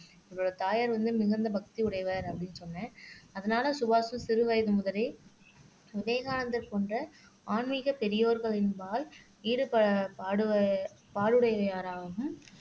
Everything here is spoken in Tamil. இவரோட தாயார் வந்து மிகுந்த பக்தி உடையவர் அப்படின்னு சொன்னேன் அதனால சுபாஷ் சிறுவயது முதலே விவேகானந்தர் போன்ற ஆன்மீக பெரியோர்களின்பால் ஈடு பாடு பாடு உடையாராகவும்